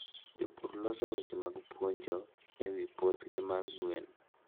Jopur loso weche mag puonjo e wi puothgi mar gwen.